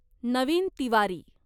Naveen Tiwari